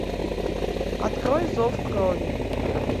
открой зов крови